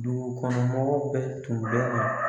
Dugu kɔnɔ mɔgɔ bɛɛ tun bɛ